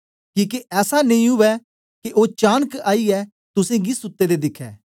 किके ऐसा नेई ओए के ओ चानक आईयै तुसेंगी गी सुत्ते दे दिखै